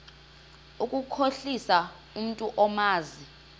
ukukhohlisa umntu omazi